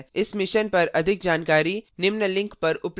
इस mission पर अधिक जानकारी निम्न लिंक पर उपलब्ध है